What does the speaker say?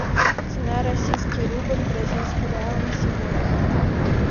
цена российский рубль бразильский реал на сегодня